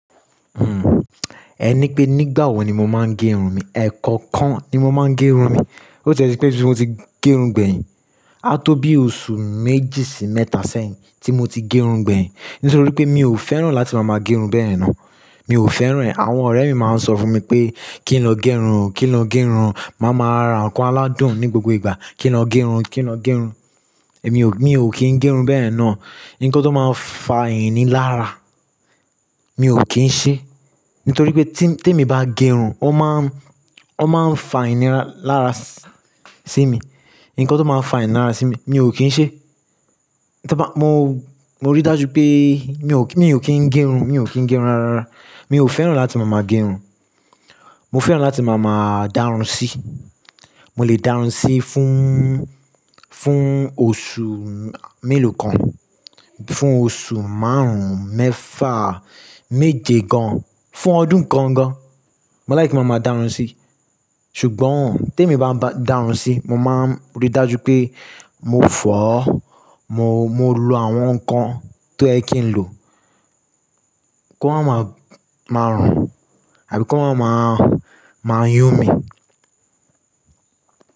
Hmm, ẹ ní pé nígbà wo ni mo máa ń gẹrun mi. Ẹ̀ kankan ni mo máa ń gẹrun mi. Ó ti e tipé ti mo ti gẹrun gbẹ̀yìn, a tó bí oṣù méjì sí mẹ́ta sẹ́yìn tí mo ti gẹrun gbẹ̀yìn. Nítorí pé mi ò fẹ́ràn láti máa máa gẹrun bẹ́ẹ̀ náà. Mi ò fẹ́ràn e Àwọn ọ̀rẹ́ mi máa ń sọ fún mi pé kí n lọ gẹrun, kí n lọ gẹrun. Máa má ra nǹkan aládùn ní gbogbo ìgbà. Kí n lọ gẹrun, kí n lọ gẹrun. Èmi ò kí ń gẹrun bẹ́yen náà. Ǹnǹkan tó má faa inilára, mi ò kí ń ṣe. Nítorí pé tin, tí èmi bá gẹrun, ó máa ń, ó máa ń fa inilára sí mi. Ǹnǹkan tó máa ń fa inilára sí mi, mi ò kí ń ṣe. To ba, mo, mo rí dájú pé mi ò kí ń gẹrun, mi ò kí ń gẹrun rárá rara. Mi ò fẹ́ràn láti máa máa gẹrun. Mo fẹ́ràn láti máa má dárun sí. Mo lè dárun sí fún, fún oṣù mélòó kan, fún oṣù márùn-ún, mẹ́fa, méje gan, fún ọdún kan gan. Mo like máa máa dárun sí. Ṣùgbọ́n t'emi bá ń bá dárun sí, mo máa ń rí dájú pé mo fọ̀ ọ́. Mo, mo lo àwọn nǹkan tó yẹ kí n lò, ko maa máa ma rùn àbí kí o máa, máa yún mi.